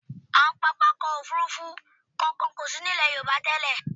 Àwọn pápákọ̀ òfurufú kankan kò sí ní ilẹ̀ Yorùbá tẹ́lẹ̀.